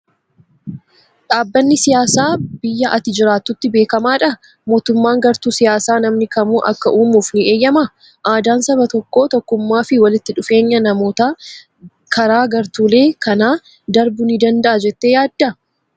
Dhaabbanni siyaasaa biyya ati jiraattutti beekamaadhaa? Mootummaan gartuu siyaasaa namni kamuu akka uumuuf ni eeyyamaa? Aadaan saba tokkoo, tokkummaa fi walitti dhufeenya namootaa karaa gartuulee kanaa darbuu ni danda'aa jettee yaaddaa?